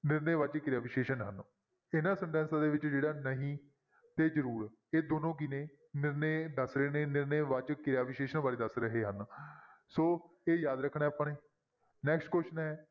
ਨਿਰਣੈ ਵਾਚਕ ਕਿਰਿਆ ਵਿਸ਼ੇਸ਼ਣ ਹਨ ਇਹਨਾਂ sentences ਦੇ ਵਿੱਚ ਜਿਹੜਾ ਨਹੀਂ ਤੇ ਜ਼ਰੂਰ ਇਹ ਦੋਨੋਂ ਕੀ ਨੇ ਨਿਰਣੇ ਦੱਸ ਰਹੇ ਨੇ ਨਿਰਣੇ ਵਾਚਕ ਕਿਰਿਆ ਵਿਸ਼ੇਸ਼ਣ ਬਾਰੇ ਦੱਸ ਰਹੇ ਹਨ ਸੋ ਇਹ ਯਾਦ ਰੱਖਣਾ ਹੈ ਆਪਾਂ ਨੇ next question ਹੈ,